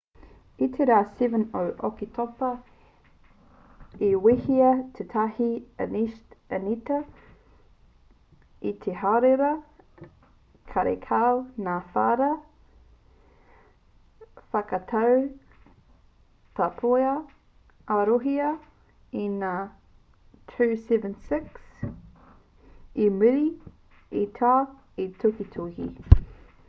i te rā 7 o oketopa i wehea tētahi initia i te hārewa karekau ngā whara i whakatau taupua a rūhia i ngā ii-76 i muri i taua tukituki